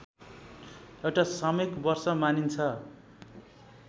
एउटा सामूहिक वर्ष मानिन्छ